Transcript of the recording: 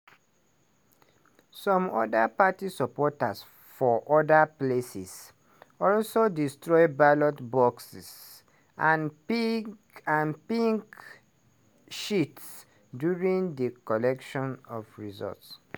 some oda party supporters for oda places also destroy ballot boxes and pink sheets during di collation of results.